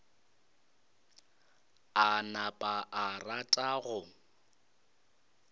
a napa a rata go